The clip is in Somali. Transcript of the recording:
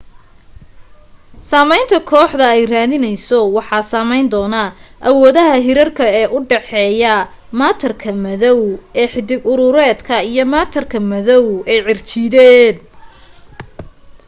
saamaynta kooxdu ay raadinayso waxaa saamayn doona awoodaha hirarka ee u dhaxeeya maatarka madow ee xiddig-urureedka iyo maatarka madow ee cirjiideed